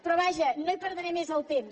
però vaja no hi perdré més el temps